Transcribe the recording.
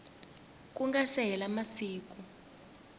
ku nga se hela masiku